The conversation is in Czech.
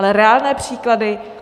Ale reálné příklady?